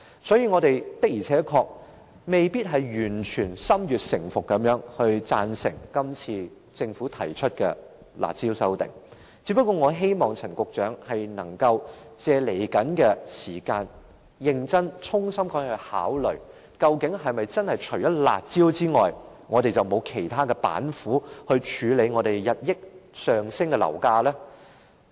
所以，我們不是完全心悅誠服地贊成政府今次提出的修訂"辣招"，我亦希望陳局長日後能夠認真考慮，當局是否除了"辣招"之外，已沒有其他板斧處理日益上升的樓價？